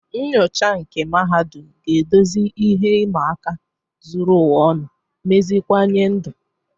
Nnyocha nke mahadum ga-edozi ihe ịma aka zuru ụwa ọnụ, meziwanye ndụ.